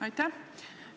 Aitäh!